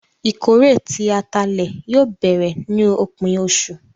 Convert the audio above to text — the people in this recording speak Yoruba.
Ìkórè tí àtálẹ yóò bẹ̀rẹ̀ ni opin ọṣu.